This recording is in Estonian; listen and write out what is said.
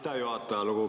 Aitäh, juhataja!